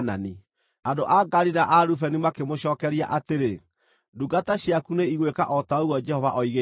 Andũ a Gadi na a Rubeni makĩmũcookeria atĩrĩ, “Ndungata ciaku nĩ igwĩka o ta ũguo Jehova oigĩte.